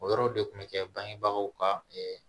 O yɔrɔ de kun bɛ kɛ bangebagaw ka